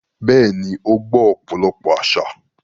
Bẹ́ẹ̀ni, ó gbọ́ ọ̀pọ̀lọpọ̀ àsà.